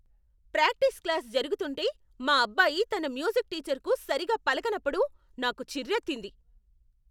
Practice class జరుగుతుంటే మా అబ్బాయి తన మ్యూజిక్ టీచర్కు సరిగా పలకనప్పుడు నాకు చిర్రెత్తింది.